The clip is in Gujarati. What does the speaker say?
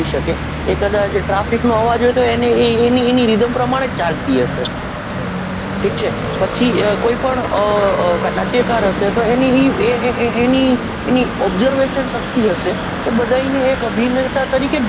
સકે એ કદાચ traffic નો અવાજ હોય તો એની એ એની રીધમ પ્રમાણે જ ચાલતી હશે ઠીક છે પછી એ કોઈ પણ નાટ્યકાર હશે એની observation શક્તિ હશે એ બધાયને એને એક અભિનેતા તરીકે જ